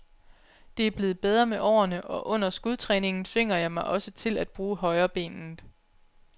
Det er blevet bedre med årene, og under skudtræningen tvinger jeg mig også til at bruge højrebenet.